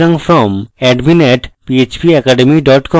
সুতরাং from: admin @phpacademy com